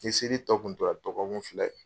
Ni seli tɔ kun tora dɔgɔ kun fila ye.